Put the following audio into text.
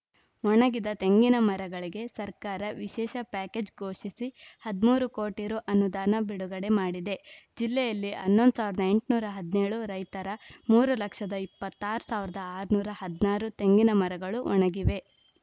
ಒಣಗಿದ ತೆಂಗಿನ ಮರಗಳಿಗೆ ಸರ್ಕಾರ ವಿಶೇಷ ಪ್ಯಾಕೇಜ್‌ ಘೋಷಿಸಿ ಹದಿಮೂರು ಕೋಟಿ ರುಅನುದಾನ ಬಿಡುಗಡೆ ಮಾಡಿದೆ ಜಿಲ್ಲೆಯಲ್ಲಿ ಹನ್ನೊಂದ್ ಸಾವಿರದ ಎಂಟುನೂರ ಹದಿನೇಳು ರೈತರ ಮೂರ್ ಲಕ್ಷದ ಇಪ್ಪತ್ತ್ ಆರ್ ಸಾವಿರದ ಆರುನೂರ ಹದಿನಾರು ತೆಂಗಿನ ಮರಗಳು ಒಣಗಿವೆ